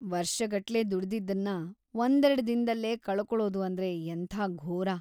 ವರ್ಷಗಟ್ಲೆ ದುಡಿದಿದ್ದನ್ನ ಒಂದೆರ್ಡ್‌ ದಿನ್ದಲ್ಲೇ ಕಳ್ಕೊಳೋದು ಅಂದ್ರೆ ಎಂಥ ಘೋರ!